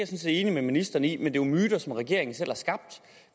set enig med ministeren i men det er jo myter som regeringen selv har skabt